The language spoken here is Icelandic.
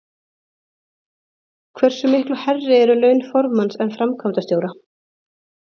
Hversu miklu hærri eru laun formanns en framkvæmdastjóra?